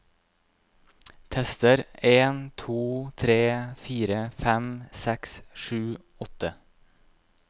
Tester en to tre fire fem seks sju åtte